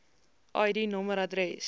id nommer adres